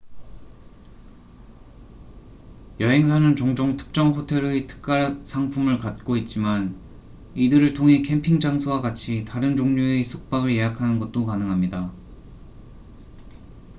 여행사는 종종 특정 호텔의 특가 상품을 갖고 있지만 이들을 통해 캠핑 장소와 같이 다른 종류의 숙박을 예약하는 것도 가능합니다